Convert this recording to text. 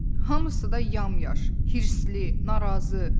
Hamısı da yamyaş, hirsli, narazı.